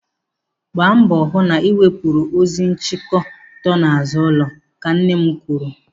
Gbaa mbọ hụ na ị wepụrụ ozu nchiki dọọ n'azụ ụlọ. Ka nne m kwuru.